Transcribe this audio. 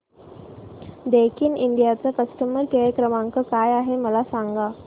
Daikin India चा customer care क्रमांक काय आहे मला सांगा